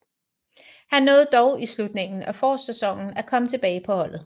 Han nåede dog i slutningen af forårssæsonen at komme tilbage på holdet